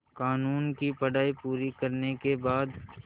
क़ानून की पढा़ई पूरी करने के बाद